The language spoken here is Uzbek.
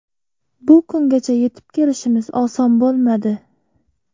Bu kungacha yetib kelishimiz oson bo‘lmadi.